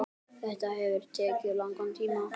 Þetta hefur tekið langan tíma.